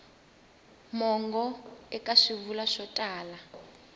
mongo eka swivulwa swo tala